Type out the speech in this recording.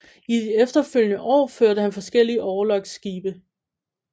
I de efterfølgende år førte han forskellige orlogsskibe